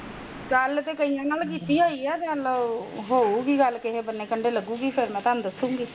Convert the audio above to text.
ਗੱਲ ਤੇ ਕਈਆਂ ਨਾਲ ਕੀਤੀ ਹੋਇ ਈ ਹੋਊਗੀ ਗੱਲ ਕਿਸੀ ਕੰਡੇ ਲੱਗੂਗੀ ਤਾ ਦਸਗੀ